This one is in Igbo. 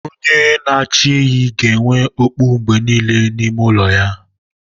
Onye n'achi ehi ga-enwe okpu mgbe niile n'ime ụlọ ya.